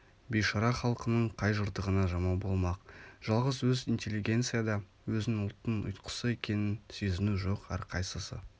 бейшара халқының қай жыртығына жамау болмақ жалғыз өз интеллигенцияда өзін ұлттың ұйтқысы екенін сезіну жоқ әрқайсысы